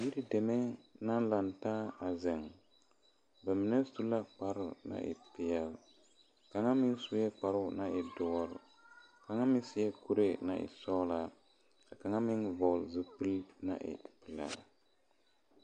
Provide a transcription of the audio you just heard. Yiri deme naŋ la taa a zeŋ ba mine su la kparo naŋ e peɛle kaŋa meŋ suɛ kparo naŋ e doɔre kaŋa meŋ seɛ kuri naŋ e sɔglɔ ka meŋ vɔgle zupele naŋ e pelaa.